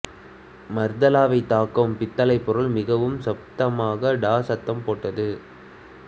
மர்தலாவைத் தாக்கும் பித்தளை பொருள் மிகவும் சத்தமாக டா சத்தம் போட்டது